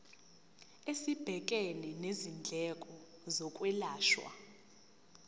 esibhekene nezindleko zokwelashwa